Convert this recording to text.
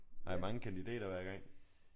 Har I mange kandidater hver gang?